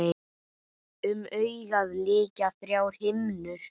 Um augað lykja þrjár himnur.